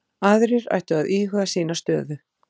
Aðrir ættu að íhuga sína stöðu